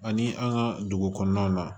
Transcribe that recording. Ani an ka dugu kɔnɔnaw na